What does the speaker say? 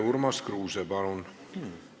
Urmas Kruuse, palun!